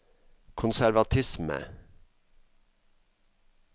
konservatisme